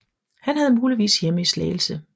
Han havde muligvis hjemme i Slagelse